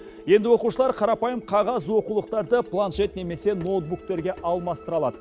енді оқушылар қарапайым қағаз оқулықтарды планшет немесе ноутбуктерге алмастыра алады